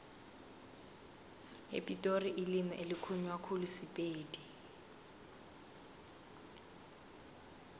epitori ilimi elikhulunywa khulu sipedi